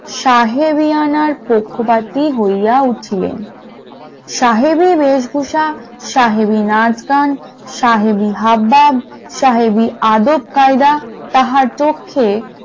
সাহেবিয়ানা পক্ষপাতী হইয়া উঠিলেন । সাহেবের বেশভূষা সাহেবি নাচ গান সাহেবি হাবভাব সাহেবি আদব-কায়দা তাহার পক্ষে